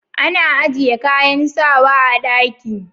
Ana ajiye kayan sawa a ɗaki